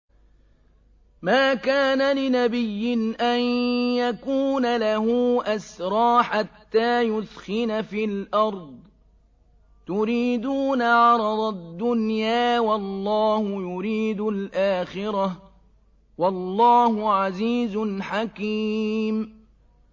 مَا كَانَ لِنَبِيٍّ أَن يَكُونَ لَهُ أَسْرَىٰ حَتَّىٰ يُثْخِنَ فِي الْأَرْضِ ۚ تُرِيدُونَ عَرَضَ الدُّنْيَا وَاللَّهُ يُرِيدُ الْآخِرَةَ ۗ وَاللَّهُ عَزِيزٌ حَكِيمٌ